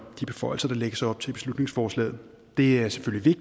de beføjelser der lægges op til i beslutningsforslaget det er selvfølgelig